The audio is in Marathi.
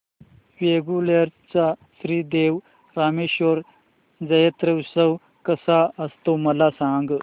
वेंगुर्ल्या चा श्री देव रामेश्वर जत्रौत्सव कसा असतो मला सांग